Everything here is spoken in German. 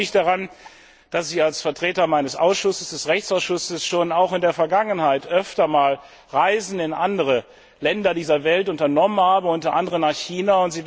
Ich erinnere mich daran, dass ich als Vertreter meines Ausschusses des Rechtsausschusses auch schon in der Vergangenheit öfter einmal Reisen in andere Länder dieser Welt unternommen habe, unter anderem nach China.